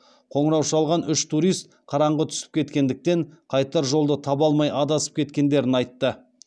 қоңырау шалған үш турист қараңығы түсіп кеткендіктен қайтар жолды таба алмай адасып кеткендерін айтты